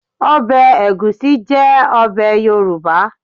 Ọbẹ̀ ẹ̀gúsí jẹ́ ọbẹ̀ Yorùbá